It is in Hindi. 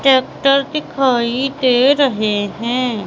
टैक्टर दिखाई दे रहे हैं।